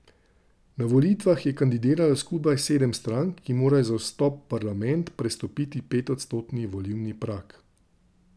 Na volitvah je kandidiralo skupaj sedem strank, ki morajo za vstop v parlament prestopiti petodstotni volilni prag.